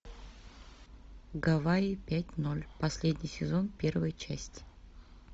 гавайи пять ноль последний сезон первая часть